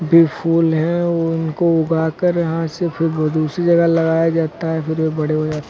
ये फूल हैं उनको उगाकर यहां से फिर वो दूसरी जगह लगाया जाता है फिर वे बड़े बड़े हो ज --